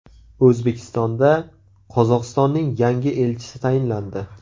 O‘zbekistonda Qozog‘istonning yangi elchisi tayinlandi.